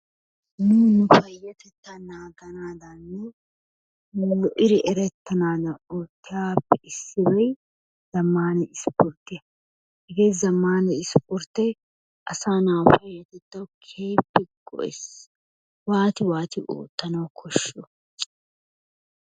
Nunni nu payattetaa naganadanni lo'iddi erettanadanni ottiyabappe issoy zammanna issportiyaa, hegee zammana isporttee asa na'a payatettawu keehippe go'eessi, waati waati ottanawu koshiyoo?